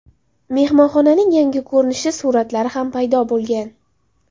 Mehmonxonaning yangi ko‘rinishi suratlari ham paydo bo‘lgan .